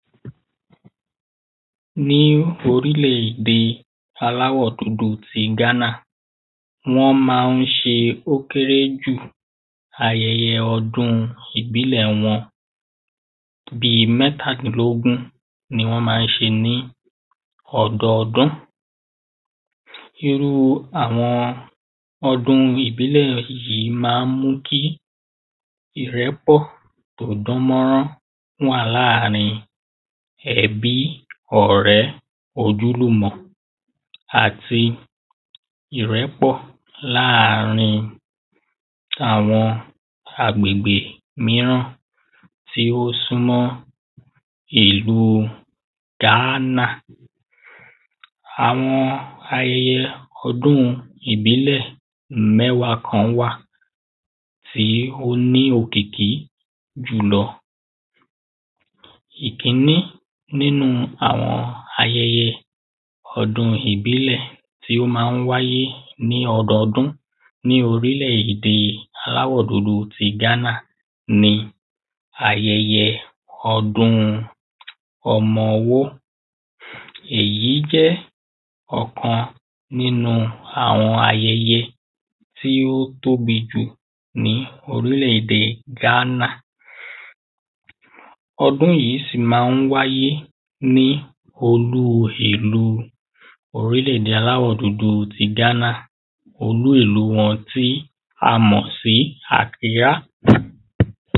ní orílẹ̀-ède aláwọ̀ dúdú ti Ghana, wọ́n ma ń ṣe ó kéré jù ayẹyẹ ọdún ìbílẹ̀ wọn bíi mẹ́tàdínlógún ni wọ́n ma ń ṣe ní ọdọọdún. irú àwọn ọdún ìbílẹ̀ yìí ma ń mú kí ìrẹ́pọ̀ tí ó dán mọ́rán wà lárín ẹbí, ọ̀rẹ́, ojúlùmọ̀ àti ìrẹ́pọ̀ láàrín àwọn agbègbè míràn tí ó súnmọ́ ìlu Ghana. àwọn ayẹyẹ ọdún ìbílẹ̀ mẹ́wàá kan wà tí ó ní òkìkí jùlọ ìkíní nínu àwọn ayẹyẹ ọdún ìbílẹ̀ tí ó ma ń wáyé ní ọdọọdún ní orílẹ̀-ede aláwọ̀ dúdú ti Ghana ní ayẹyẹ ọdún ọmọ́wọ́, èyí jẹ́ ọ̀kan nínu àwọn ayẹyẹ tí ó tóbi jù, ní orílẹ̀-ède Ghana ọdún yìí ma ń wáyé ní olú ìlú orílẹ̀-ède aláwọ̀ dúdú ti Ghana, olú ìlú wọn tí a mọ̀ sí Àkirá